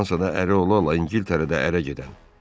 Fransada əri ola-ola İngiltərədə ərə gedən.